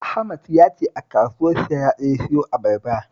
Ahmad ya ce a kasuwar Sharada ya siyo abarbar